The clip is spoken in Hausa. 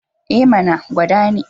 E mana! gwada ni.